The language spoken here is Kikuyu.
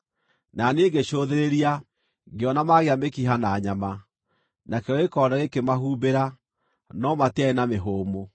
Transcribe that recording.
Na niĩ ngĩcũthĩrĩria, ngĩona maagĩa mĩkiha na nyama, nakĩo gĩkonde gĩkĩmahumbĩra, no matiarĩ na mĩhũmũ.